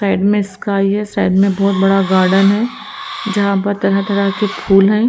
Side में sky side में बहुत बड़ा गार्डन है जहां पर तरह तरह के फूल हैं।